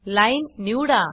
line निवडा